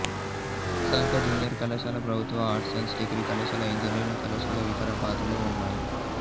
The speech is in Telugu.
సమీప జూనియర్ కళాశాల ప్రభుత్వ ఆర్ట్స్ సైన్స్ డిగ్రీ కళాశాల ఇంజనీరింగ్ కళాశాల వికారాబాద్లో ఉన్నాయి